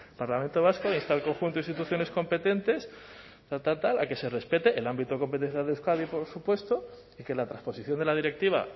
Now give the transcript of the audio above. parlamento vasco insta al conjunto de instituciones competentes a que se respete el ámbito competencial de euskadi por supuesto que la trasposición de la directiva